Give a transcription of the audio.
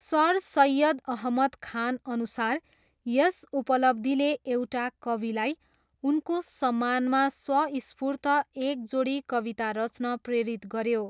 Sir Syed Ahmad खानअनुसार यस उपलब्धिले एउटा कविलाई उनको सम्मानमा स्वस्फुर्त एक जोडी कविता रच्न प्रेरित गऱ्यो।